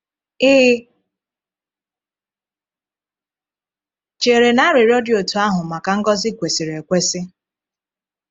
Ị chere na arịrịọ dị otú ahụ maka ngọzi kwesịrị ekwesị?